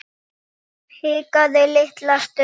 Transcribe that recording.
Hikaði litla stund.